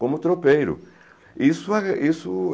Como tropeiro. Isso é, isso